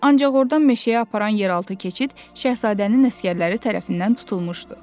Ancaq ordan meşəyə aparan yeraltı keçid Şahzadənin əsgərləri tərəfindən tutulmuşdu.